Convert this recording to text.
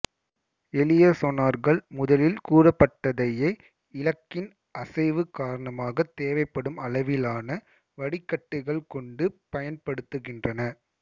எளிய சொனார்கள் முதலில் கூறப்பட்டதையே இலக்கின் அசைவு காரணமாக தேவைப்படும் அளவிலான வடிகட்டிகள் கொண்டு பயன்படுத்துகின்றன